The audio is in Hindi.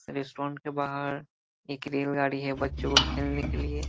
रेस्ट्रोन्ट के बाहर एक रेलगाड़ी है बच्चों को खेलने के लिए ।